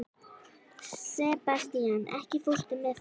Sebastian, ekki fórstu með þeim?